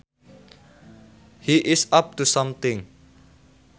He is up to something